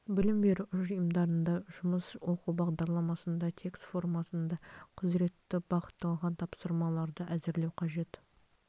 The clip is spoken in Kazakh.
білім беру ұйымдарына жұмыс оқу бағдарламасында тест формасында құзыретті бағытталған тапсырмаларды әзірлеу қажет